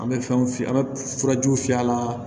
An bɛ fɛnw fiyɛ an bɛ furajiw fiyɛ a la